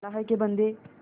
अल्लाह के बन्दे